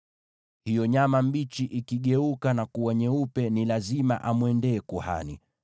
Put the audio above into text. Hiyo nyama mbichi ikigeuka na kuwa nyeupe, ni lazima amwendee kuhani.